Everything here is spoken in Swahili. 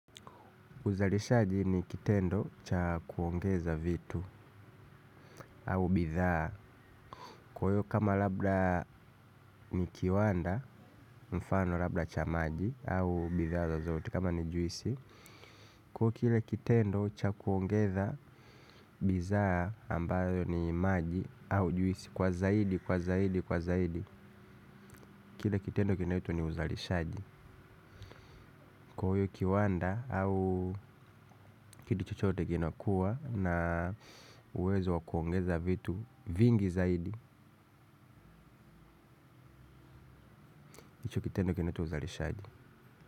Uzalishaji ni kitendo cha kuongeza vitu au bidhaa. Kwa hiyo kama labda ni kiwanda mfano labda cha maji au bidhaa zozote kama ni juisi. Kwa hiyo kile kitendo cha kuongeza bidhaa ambayo ni maji au juisi kwa zaidi kwa zaidi kwa zaidi. Kwa hiyo kitendo kinaitwa ni uzalishaji. Kwa hiyo kiwanda au kitu chochote kinakuwa na uwezo wakuongeza vitu vingi zaidi. Kitendo kinaitwa uzalishaji.